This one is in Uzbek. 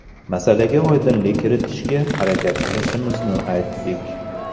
Masalaga oydinlik kiritishga harakat qilishimizni aytdik.